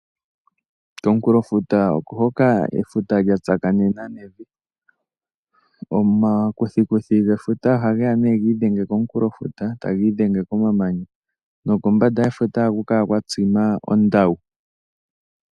Komukulofuta okohoka efuta lyatsakanena nevi, omakuthikuthi gefuta ohageya nee giidhenge komukulofuta tagiidhenge komamanya nokombanda yefuta ohaku kala kwatsima ondawu.